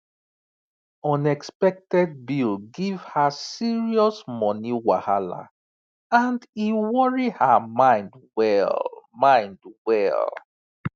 unexpected bill give her serious money wahala and e worry her mind well mind well